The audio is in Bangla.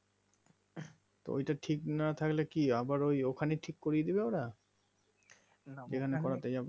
তো ঐটা ঠিক না থাকলে কি আবার ওই ওখানেই ঠিক করিয়ে দেবে ওরা না ওখানে যেখানে করতে যাবো